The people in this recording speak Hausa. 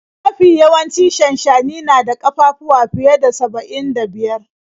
Mafi yawancin shanshani na da ƙafafuwa fiye da saba'in da biyar.